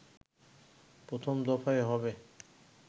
প্রথম দফায় হবে